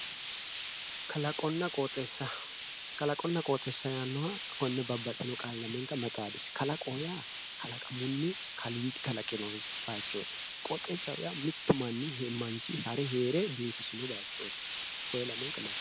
Kalaqonna qooxeessa kalaqonna qooxeessa yaannoha konne babbaxewo qaale mayi xaadisi kalaqoho yaa kalaqamunni kaaliiqi kalaqino bayichoti qooxessaho yaa mittu manchi hare heere bifisino bayichooti konne lamenka